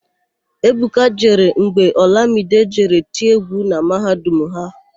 Ebuka jere mgbe Ọlamide jere tie égwú na mahadum ha.